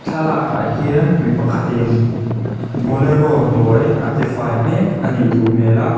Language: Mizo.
thlalak ah hian mipakhatin bolero hnuai a tifai hmek anih duh hmel a.